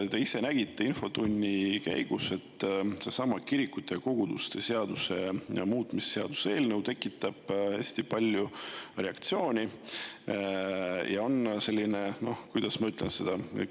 Te ise nägite infotunni käigus, et seesama kirikute ja koguduste seaduse muutmise seaduse eelnõu tekitab hästi palju reaktsioone ja on – noh, kuidas ma ütlen?